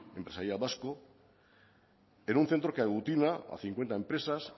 empresarial vasco en un centro que aglutina a cincuenta empresas